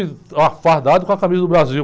Ah, fardado com a camisa do Brasil.